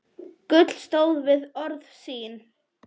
Gulla stóð við orð sín.